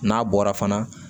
N'a bɔra fana